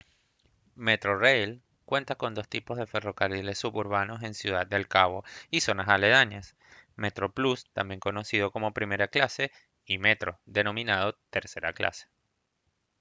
metrorail cuenta con dos tipos de ferrocarriles suburbanos en ciudad del cabo y zonas aledañas: metroplus también conocido como primera clase y metro denominado tercera clase